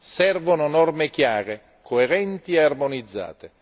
Servono norme chiare, coerenti e armonizzate.